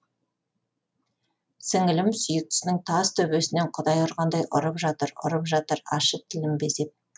сіңілім сүйіктісінің тас төбесінен құдай ұрғандай ұрып жатыр ұрып жатыр ащы тілін безеп